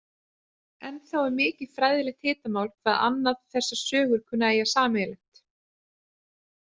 Ennþá er mikið fræðilegt hitamál hvað annað þessar sögur kunni að eiga sameiginlegt.